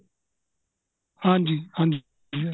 ਹਾਂਜੀ ਹਾਂਜੀ ਹਾਂਜੀ sir